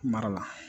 Mara la